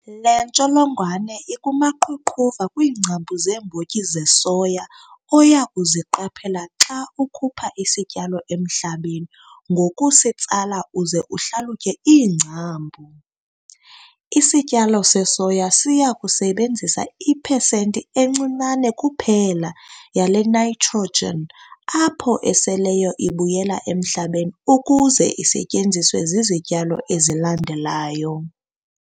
Le ntsholongwane ikumaqhuqhuva kwiingcambu zeembotyi zesoya oya kuziqaphela xa ukhupha isityalo emhlabeni ngokusitsala uze uhlalutye iingcambu, isityalo sesoya siya kusebenzisa ipesenti encinane kuphela yale nitrogen apho eseleyo ibuyela emhlabeni ukuze isetyenziswe zizityalo ezilandelayo.